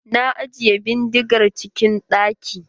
Na ajiye bindigar cikin ɗaki.